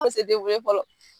An se ye fɔlɔ.